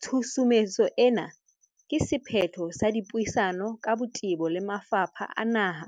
Tshusumetso ena ke se phetho sa dipuisano ka botebo le mafapha a naha,